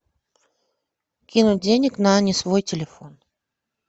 кинуть денег на не свой телефон